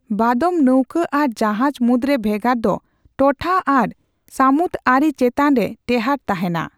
ᱵᱟᱫᱚᱢ ᱱᱟᱹᱣᱠᱟᱹ ᱟᱨ ᱡᱟᱦᱟᱡᱽ ᱢᱩᱫ ᱨᱮ ᱵᱷᱮᱜᱟᱨ ᱫᱚ ᱴᱚᱴᱷᱟ ᱟᱨ ᱥᱟᱢᱩᱛ ᱟᱹᱨᱤ ᱪᱮᱛᱟᱱ ᱨᱮ ᱴᱮᱦᱟᱸᱴ ᱛᱟᱦᱮᱸᱱᱟ ᱾